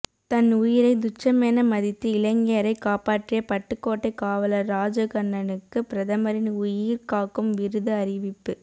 தன் உயிரை துச்சமென மதித்து இளைஞரை காப்பாற்றிய பட்டுக்கோட்டை காவலர் ராஜகண்ணனுக்கு பிரதமரின் உயிர் காக்கும் விருது அறிவிப்பு